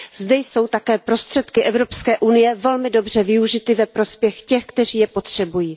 Zde jsou také prostředky EU velmi dobře využity ve prospěch těch, kteří je potřebují.